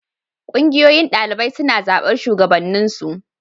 Ƙungiyoyin ɗalibai suna zaɓar shugabanninsu.